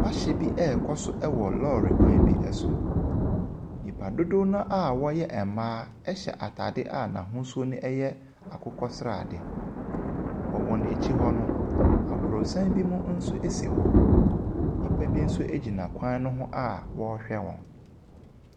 Fakyɛ bi ɛrekɔ so wɔ lɔri kwan bi ɛso. Nnipa dodoɔ na ɔyɛ mmaa ɛhyɛ ataade a n'ahosuo no ɛyɛ akokɔ sradeɛ. Na wɔ wɔn akyi hɔ, aboransan bi mo nso esi hɔ. Nnipa bi nso egyina kwan no ho a wɔrehwɛ wɔn.